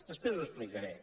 després ho explicaré